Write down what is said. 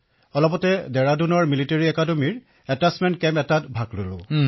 অলপতে ভাৰতীয় military academy ডেৰাদুনত এটাচ্চমেণ্ট শিবিৰত অংশগ্ৰহণ কৰিছিলো